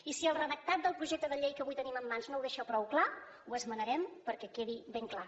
i si el redactat del projecte de llei que avui tenim en mans no ho deixa prou clar ho esmenarem perquè quedi ben clar